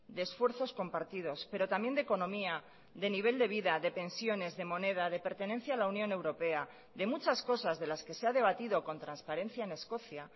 de esfuerzos compartidos pero también de economía de nivel de vida de pensiones de moneda de pertenencia a la unión europea de muchas cosas de las que se ha debatido con transparencia en escocia